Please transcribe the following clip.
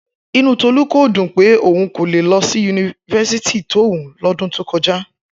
Inú Túndé kò dùn pé òun kò lè lọ sí yunifásítì tó wù ú lọ́dún tó kọjá